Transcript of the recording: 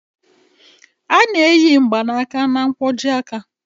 A na-eyi mgbaaka na nkwojiaka